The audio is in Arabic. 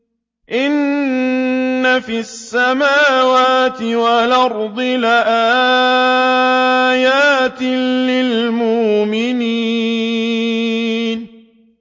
إِنَّ فِي السَّمَاوَاتِ وَالْأَرْضِ لَآيَاتٍ لِّلْمُؤْمِنِينَ